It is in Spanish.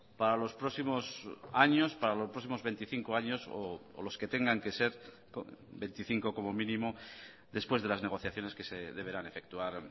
para los próximos años para los próximos veinticinco años o los que tengan que ser veinticinco como mínimo después de las negociaciones que se deberán efectuar